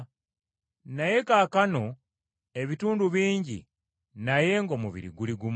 Naye kaakano ebitundu bingi naye ng’omubiri guli gumu.